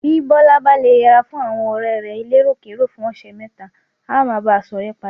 Bí Bọ́lá bá le yẹra fún àwọn ọ̀rẹ́ rẹ̀ eléròkérò fún ọ̀sẹ̀ mẹ́ta, á máa bá a ṣọ̀rẹ́ padà.